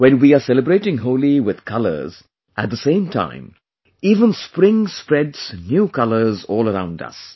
When we are celebrating Holi with colors, at the same time, even spring spreads new colours all around us